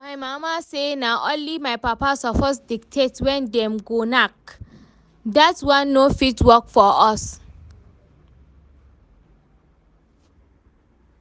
My mama say na only my papa suppose dictate when dem go knack, dat one no fit work for us